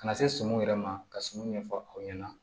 Ka na se sumuni yɛrɛ ma ka sumun ɲɛfɔ aw ɲɛna